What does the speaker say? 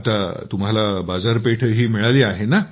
आता तुम्हाला बाजारपेठही मिळाली आहे